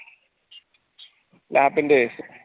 lap ന്റെ